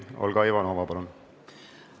Olga Ivanova, palun!